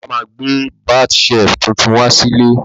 Bàbá má gbẹ́ bath shelf tuntun wá sílé